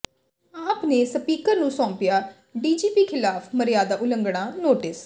ਆਪ ਨੇ ਸਪੀਕਰ ਨੂੰ ਸੌਪਿਆ ਡੀਜੀਪੀ ਖਿਲਾਫ਼ ਮਰਿਆਦਾ ਉਲੰਘਣਾ ਨੋਟਿਸ